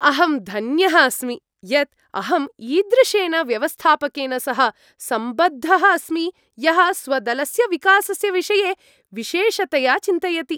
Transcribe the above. अहं धन्यः अस्मि यत् अहम् ईदृशेन व्यवस्थापकेन सह सम्बद्धः अस्मि यः स्वदलस्य विकासस्य विषये विशेषतया चिन्तयति।